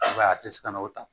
I b'a ye a tɛ se ka n'o ta